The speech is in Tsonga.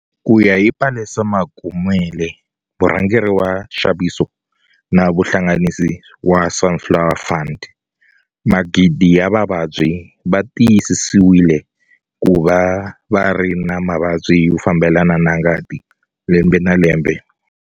Ku ya hi Palesa Mokomele, murhangeri wa nxaviso na vuhlanganisi wa Sunflower Fund, magidi ya vavabyi va tiyisisiwile ku va va ri na mavabyi yo fambelana na ngati lembe na lembe.